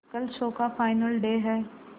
कल शो का final day है